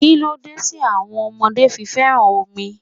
Kíló dé tí àwọn ọmọdé fi féràn omi?